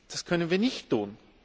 Das können wir nicht tun.